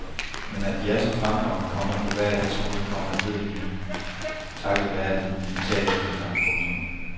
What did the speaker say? Men at de er så fremragende, komma på hver deres måde, komma ved vi nu takket være den digitale efterklang. punktum